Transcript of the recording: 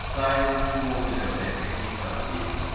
тайны смолвиля блять какие-то охуеть